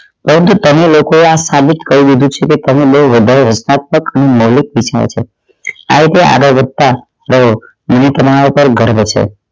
પરંતુ તમે લોકો એ આ સાબિત કરી દીધું છે કે તે બોવ વધારે હસ્તાંતક અને મૌલિક છો સાહેબ એ આગળ વધતાં જોવો મને તમારા પર ગર્વ છે